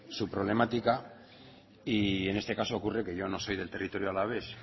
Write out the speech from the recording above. su problemática y en este caso ocurre que yo no soy del territorio alavés